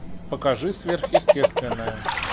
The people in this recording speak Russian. покажи сверхъестественное